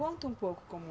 Conta um pouco como